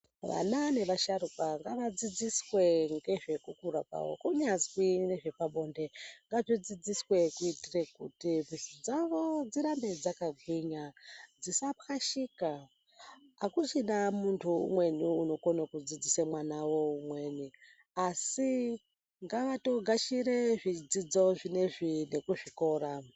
Vana nevasharuka ngavadzidziswe ngezvekukura kwavo kunyazwi ngezvepabonde ngazvidzidziswe. Kuitire kuti mwuri dzavo dzirambe dzakagwinya dzisapwashika. Hakuchina muntu umweni unokona kudzidzisa mwana veumweni asi ngavatogashire zvidzidzo zvinoizvi nekuzvikora.